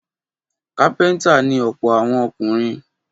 Kápẹ́ńtà ni ọ̀pọ̀ àwọn ọkùnrin.